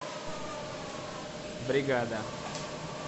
бригада